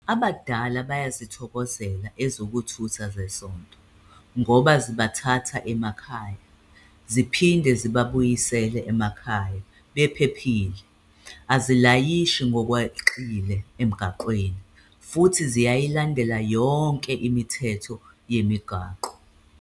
Abadala bayazithokozela ezokuthutha zesonto ngoba zibathatha emakhaya, ziphinde zibabuyisele emakhaya bephephile, azilayishi ngokweqile emgaqweni futhi ziyayilandela yonke imithetho yemigwaqo.